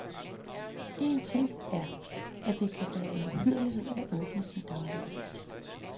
Én ting er, at det kan være en uhyrlighed at åbne sin daglige avis.